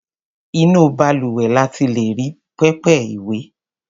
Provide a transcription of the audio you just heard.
Inú balùwẹ̀ la ti lè rí pẹpẹ ìwẹ̀.